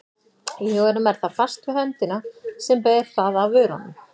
Í huganum er það fast við höndina sem ber það að vörunum.